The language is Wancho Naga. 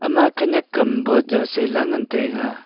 ama khenyak am boh jaw sela ngan taiga.